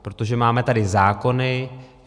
Protože máme tady zákony.